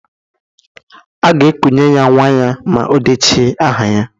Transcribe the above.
A ga-ekunye ya nwa ya ma odeche aha ya